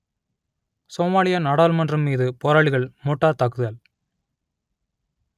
Somalia நாடாளுமன்றம் மீது போராளிகள் மோட்டார் தாக்குதல்